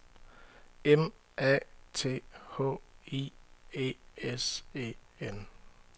M A T H I E S E N